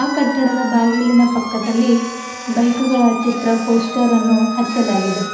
ಕಟ್ಟಡದ ಬಾಗಿಲಿನ ಪಕ್ಕದಲ್ಲಿ ಬೈಕುಗಳ ಚಿತ್ರ ಪೋಸ್ಟರ್ ಅನ್ನು ಹಚ್ಚಲಾಗಿದೆ.